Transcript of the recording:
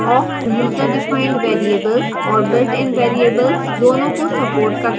awk userdefined variables और builtin variables दोनों को supports करता है